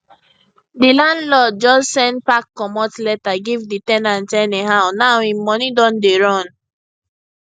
di landlord just send pack comot letter give di ten ant anyhow now im money don dey run